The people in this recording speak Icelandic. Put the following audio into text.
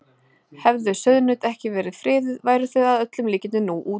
hefðu sauðnaut ekki verið friðuð væru þau að öllum líkindum nú útdauð